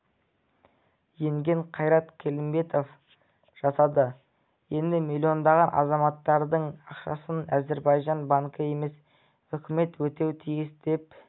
енген қайрат келімбетов жасады енді миллондаған азаматтардың ақшасын әзірбайжан банкі емес үкіметі өтеуі тиіс деп